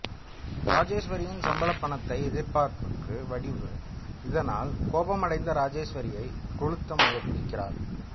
ராஜேஸ்வரியின் சம்பளப் பணத்தை எதிர்பார்க்கும் வடிவு இதனால் கோபமடைந்து ராஜேஸ்வரியை கொளுத்த முயற்சிக்கிறார்